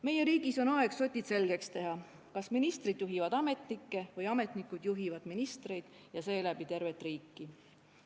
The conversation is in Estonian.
Meie riigis on aeg sotid selgeks teha: kas ministrid juhivad ametnikke või ametnikud juhivad ministreid ja seeläbi tervet riiki?